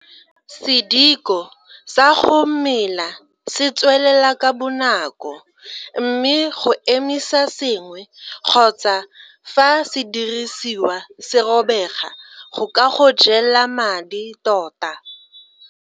Sediko sa go mela se tswelela ka bonako mme go emisa sengwe kgotsa fa sediriswa se robega go ka go jela madi tota.